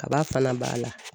Kaba fana b'a la